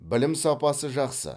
білім сапасы жақсы